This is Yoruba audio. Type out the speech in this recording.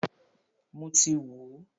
Mọ ti wò ó.